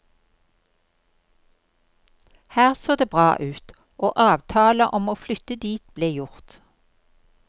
Her så det bra ut, og avtale om å flytte dit ble gjort.